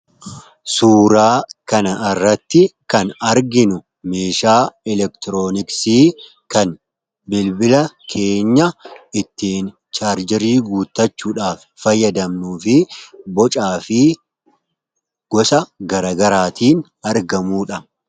Suuraa kan irratti kan arginu meeshaa elektirooniksii kan bilbila keenya ittiin chaarjirii guuttachuudhaaf fayyadamnuufi bocaa fi gosa gargaraatiin argamuudha.